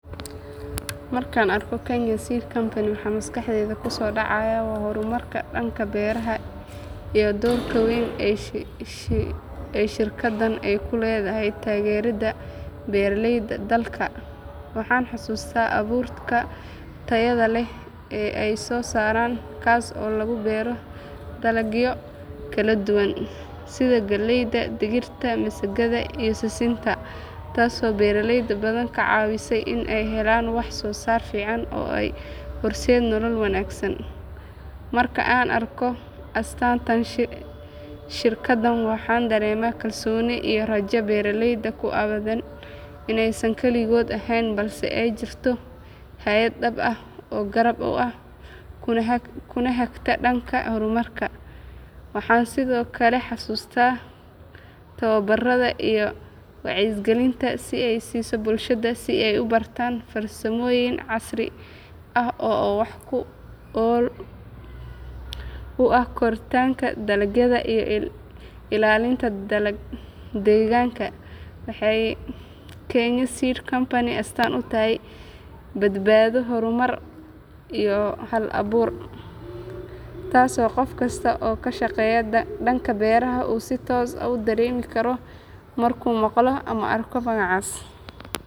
Markaan arko Kenya Seed Company waxa maskaxdayda kusoo dhacaya waa horumarka dhanka beeraha iyo doorka weyn ee shirkaddan ay ku leedahay taageeridda beeraleyda dalka. Waxaan xasuustaa abuurka tayada leh ee ay soo saaraan kaas oo lagu beero dalagyo kala duwan sida galleyda, digirta, masagada iyo sisinta taasoo beeraley badan ka caawisay in ay helaan wax-soo-saar fiican oo u horseeda nolol wanaagsan. Marka aan arko astaanta shirkaddan waxaan dareemaa kalsooni iyo rajo beeraleyda ku aaddan inaysan keligood ahayn balse ay jirto hay’ad dhab ah oo garab u ah kuna hagta dhanka horumarka. Waxaan sidoo kale xasuustaa tababarada iyo wacyigelinta ay siiso bulshada si ay u bartaan farsamooyin casri ah oo wax ku ool u ah koritaanka dalagyada iyo ilaalinta deegaanka. Waxay Kenya Seed Company astaan u tahay badbaado, horumar iyo hal-abuur taasoo qof kasta oo ka shaqeeya dhanka beeraha uu si toos ah u dareemi karo markuu maqlo ama arko magacaas.